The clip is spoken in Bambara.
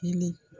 Ni